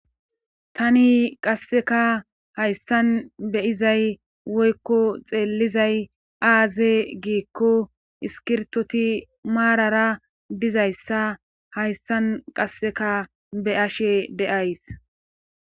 tani qasseka hayssan beyizay woykko xeellizay aaze giikko iskirtoti maarara dizayssa hayssan qasseka be ashe deays